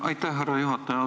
Aitäh, härra juhataja!